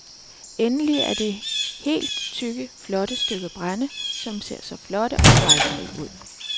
Endelig er der de helt tykke, flotte stykker brænde, som ser så flotte og fejlfrie ud.